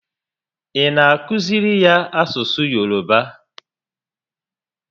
Ị na akụziri ya asụsụ Yoroba?